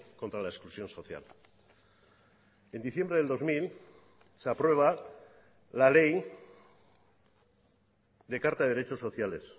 contra la exclusión social en diciembre del dos mil se aprueba la ley de carta de derechos sociales